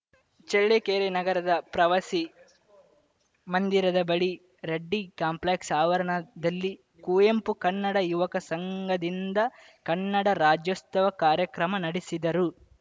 ಚಳ್ಳಕೆರೆ ನಗರದ ಪ್ರವಾಸಿ ಮಂದಿರದ ಬಳಿ ರೆಡ್ಡಿ ಕಾಂಪ್ಲೆಕ್ಸ್‌ ಆವರಣದಲ್ಲಿ ಕುವೆಂಪು ಕನ್ನಡ ಯುವಕ ಸಂಘದಿಂದ ಕನ್ನಡ ರಾಜ್ಯೋಸ್ತವ ಕಾರ್ಯಕ್ರಮ ನಡೆಸಿದರು